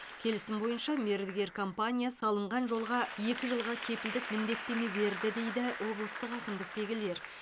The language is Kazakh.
келісім бойынша мердігер компания салынған жолға екі жылға кепілдік міндеттеме берді дейді облыстық әкімдіктегілер